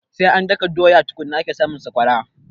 Sai an daka doya tukunna ake samun sakwara